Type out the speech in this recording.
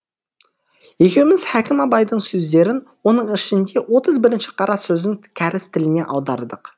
екеуміз хәкім абайдың сөздерін оның ішінде отыз бірінші қара сөзін кәріс тіліне аудардық